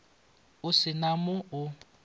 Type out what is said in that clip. o se na mo o